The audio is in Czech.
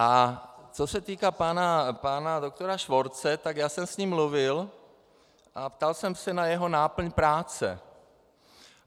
A co se týká pana doktora Švorce, tak já jsem s ním mluvil a ptal jsem se na jeho náplň práce.